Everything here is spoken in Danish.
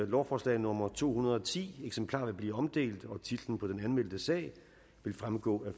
lovforslag nummer to hundrede og ti eksemplarer vil blive omdelt og titlen på den anmeldte sag vil fremgå af